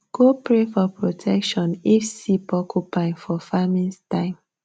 go pray for protection if see porcupine for farming time